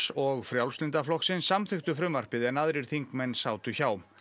og Frjálslynda flokksins samþykktu frumvarpið en aðrir þingmenn sátu hjá